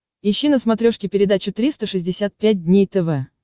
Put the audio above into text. ищи на смотрешке передачу триста шестьдесят пять дней тв